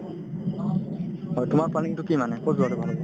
হয়, তোমাৰ planning কি মানে ক'ত যোৱাতো ভাল হ'ব